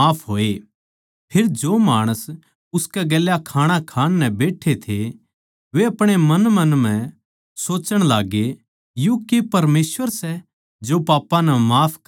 फेर जो माणस उसकै गेल्या खाणा खाण नै बैट्ठे थे वे अपणेअपणे मन म्ह सोच्चण लाग्गे यो के परमेसवर सै जो पापां नै भी माफ कर सकै सै